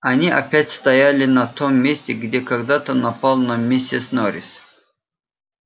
они опять стояли на том месте где когда-то напал на миссис норрис